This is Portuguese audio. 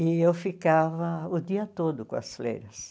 E eu ficava o dia todo com as freiras.